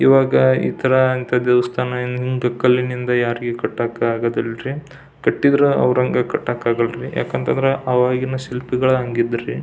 ಈವಾಗ ಈ ಥರ ಅಂತ ದೇವಸ್ಥಾನ ಏನ್ ಹಿಂಗ್ ಕಲ್ಲಿನಿಂದ ಯಾರಿಗೂ ಕಟ್ಟೋಕ್ ಆಗೋದಿ ಲ್ರಿ ಕಟ್ಟಿದ್ರು ಅವ್ರ ಹಂಗ ಕಟ್ಟೋಕ್ ಆಗಲರಿ ಯಾಕ್ ಅಂತ ಅಂದ್ರ ಆವಾಗಿನ ಶಿಲ್ಪಿಗಳು ಹಂಗ್ ಇದ್ರಿ-